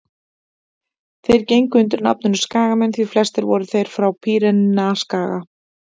þeir gengu undir nafninu skagamenn því flestir voru þeir frá pýreneaskaga